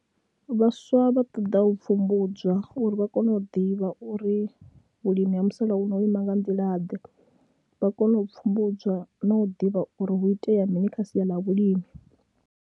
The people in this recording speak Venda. Vhaswa vha ṱoḓa u pfhumbudzwa uri vha kone u ḓivha uri vhulimi ha musalauno ho ima nga nḓilaḓe vha kone u pfhumbudzwa na u ḓivha uri hu itea mini kha sia ḽa vhulimi.